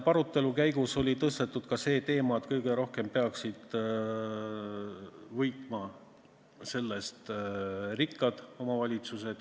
Arutelu käigus tõstatati ka see teema, et kõige rohkem peaksid võitma sellest rikkad omavalitsused.